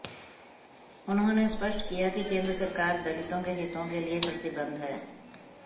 उन्होंने स्पष्ट किया कि केंद्र सरकार दलितों के हितों के लिए प्रतिबद्ध है